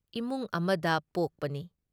ꯏꯃꯨꯡ ꯑꯃꯗ ꯄꯣꯛꯄꯅꯤ ꯫